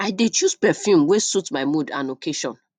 i dey choose perfume wey suit my mood and occasion